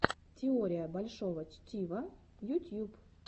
теория большого чтива ютьюб